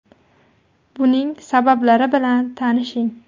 Buning sabablari bilan tanishing.